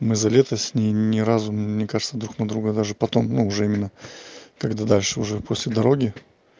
мы за лето с ней ни разу мне кажется друг на друга даже потом ну уже именно когда дальше уже после дороги